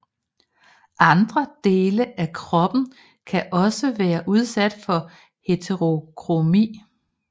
Andre dele af kroppen kan også være udsat for heterokromi